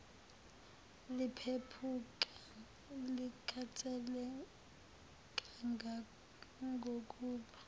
liphephuka likhathele kangangokuba